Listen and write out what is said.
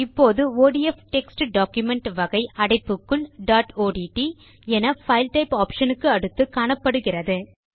இப்போது ODF text document வகை அடைப்புக்குள் டாட் ஒட்ட் என பைல் டைப் ஆப்ஷன் க்கு அடுத்து காணப்படுகிறது